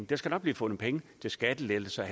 der skal nok blive fundet penge til skattelettelser og